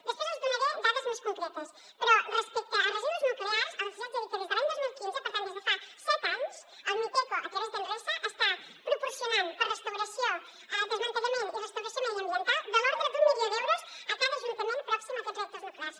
després els en donaré dades més concretes però respecte a residus nuclears els hi haig de dir que des de l’any dos mil quinze per tant des de fa set anys el miteco a través d’enresa està proporcionant per a restauració desmantellament i restauració mediambiental de l’ordre d’un milió d’euros a cada ajuntament pròxim a aquests reactors nuclears